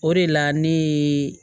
O de la ne ye